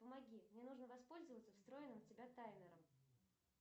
помоги мне нужно воспользоваться встроенным в тебя таймером